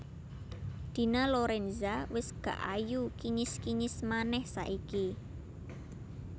Dina Lorenza wes gak ayu kinyis kinyis maneh saiki